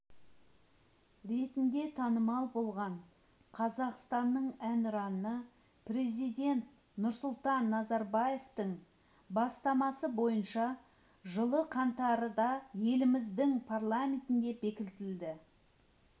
ретінде танымал болған қазақстанның әнұраны президент нұрсұлтан назарбаевтың бастамасы бойынша жылы қаңтарда еліміздің парламентінде бекітілді